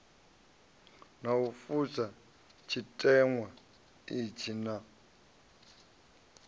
u fusha tshiteṅwa itshi naa